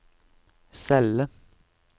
celle